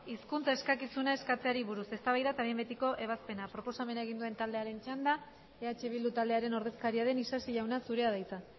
hizkuntza eskakizuna eskatzeari buruz eztabaida eta behin betiko ebazpena proposamena egin duen taldearen txanda eh bildu taldearen ordezkaria den isasi jauna zurea da hitza